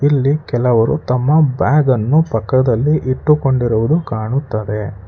ಇಲ್ಲಿ ಕೆಲವರು ತಮ್ಮ ಬ್ಯಾಗನ್ನು ಪಕ್ಕದಲ್ಲಿ ಇಟ್ಟುಕೊಂಡಿರುವುದು ಕಾಣುತ್ತದೆ.